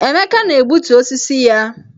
Emeka na-egbutu osisi ya